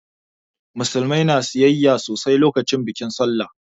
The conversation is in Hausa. Musulmai na sayayya sosai lokacin bikin sallah